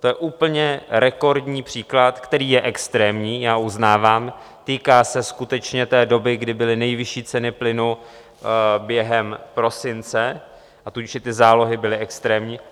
To je úplně rekordní příklad, který je extrémní, já uznávám, týká se skutečně té doby, kdy byly nejvyšší ceny plynu během prosince, a tudíž i ty zálohy byly extrémní.